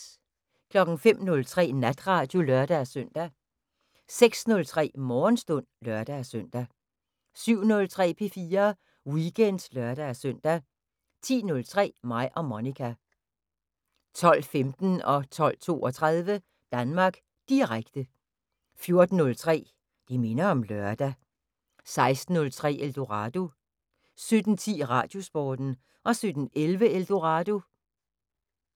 05:03: Natradio (lør-søn) 06:03: Morgenstund (lør-søn) 07:03: P4 Weekend (lør-søn) 10:03: Mig og Monica 12:15: Danmark Direkte 12:32: Danmark Direkte 14:03: Det minder om lørdag 16:03: Eldorado 17:10: Radiosporten 17:11: Eldorado